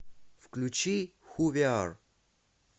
включи ху ви ар